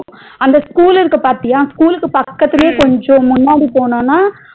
அந்த school இருக்கு பாத்தியா school க்கு பக்கதுலையே கொஞ்சம் முன்னாடி போனோம்னா